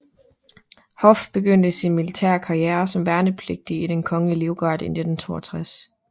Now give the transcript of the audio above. Hoff begyndte sin militære karriere som værnepligtig i Den Kongelige Livgarde i 1962